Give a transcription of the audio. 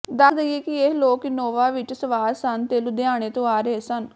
ਦੱਸ ਦਈਏ ਕਿ ਇਹ ਲੋਕ ਇਨੋਵਾ ਵਿਚ ਸਵਾਰ ਸਨ ਤੇ ਲੁਧਿਆਣੇ ਤੋਂ ਆ ਰਹੇ ਸਨ